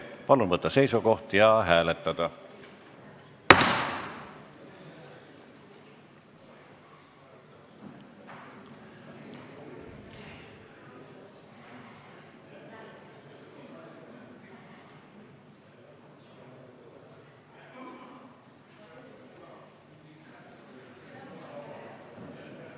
Palun võtta seisukoht ja hääletada!